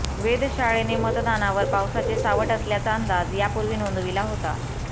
वेधशाळेने मतदानावर पावसाचे सावट असल्याचा अंदाज यापूर्वी नोंदविला होता